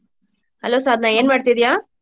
Hello Sadhna ಏನ್ ಮಾಡ್ತಿದೀಯಾ?